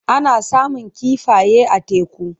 Ana samun kifaye a teku.